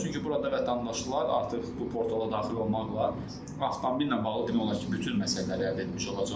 Çünki burada vətəndaşlar artıq bu portala daxil olmaqla avtomobillə bağlı demək olar ki, bütün məsələləri əldə etmiş olacaqlar.